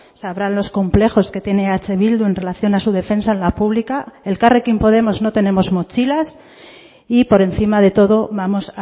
sabrán los complejos que tiene eh bildu en relación a su defensa en la pública elkarrekin podemos no tenemos mochilas y por encima de todo vamos